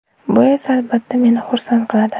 Bu esa, albatta, meni xursand qiladi.